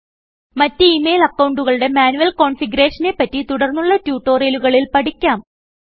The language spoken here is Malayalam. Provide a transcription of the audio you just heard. മറ്റു ഈ മെയിൽ അക്കൌണ്ടുകളുടെ മാന്യുയൽ കോൺഫിഗറേഷൻ നെ പറ്റി തുടർന്നുള്ള ട്യൂട്ടോറിയലുകളിൽ പഠിക്കാം